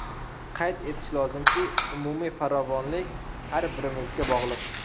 Qayd etish lozimki, umumiy farovonlik har birimizga bog‘liq.